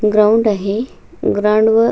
ground आहे ground वर --